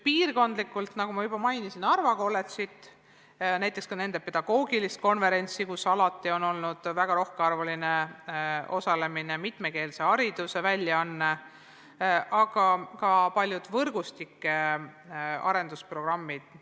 Piirkondlikult, nagu ma juba mainisin, on Narva Kolledž ja näiteks nende pedagoogiline konverents, kus alati on olnud väga rohkearvuliselt osalejaid, on mitmekeelseid haridusväljaandeid, aga ka palju võrgustike arendusprogramme.